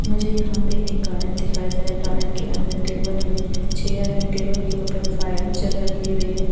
मुझे यहाँ पे एक गार्डन दिखाई दे रहा है गार्डन के अंदर टेबल है चेयर है टेबल के ऊपर फाइल जग रखी हुई है।